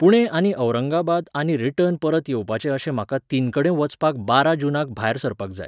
पुणे आनी औरंगाबाद आनी रिटर्न परत येवपाचें अशें म्हाका तीनकडेन वचपाक बारा जूनाक भायर सरपाक जाय.